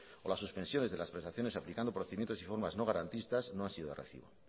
o las suspensiones de las prestaciones aplicando procedimientos y formas no garantistas no han sido de recibo